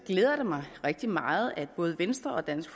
glæder det mig rigtig meget at både venstre og dansk